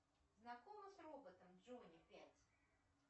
знакома с роботом джонни пять